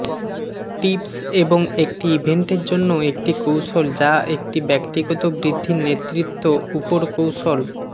tips এবং একটি ইভেন্টের জন্য একটি কৌশল যা একটি ব্যক্তিগত বৃদ্ধির নেতৃত্ব উপর কৌশল